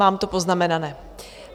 Mám to poznamenané.